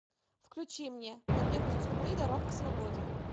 включи мне побег из тюрьмы дорога к свободе